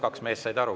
Kaks meest said aru.